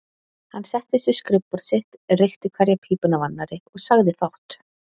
Hann settist við skrifborð sitt, reykti hverja pípuna af annarri og sagði fátt.